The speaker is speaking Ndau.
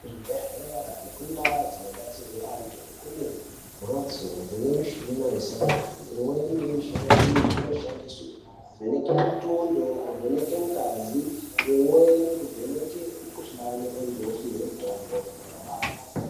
Kuzvibhedhlera nekuntaa dzinobatsirwa antu, kune mhatso dzine mishina isingati. Imweni yemishina iyi inoshandiswe kuvheneke mitundo, kuvheneke ngazi, imweni kuvheneke mikhuhlani antu opihwe mitombo.